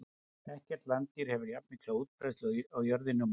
Ekkert landdýr hefur jafnmikla útbreiðslu á jörðinni og menn.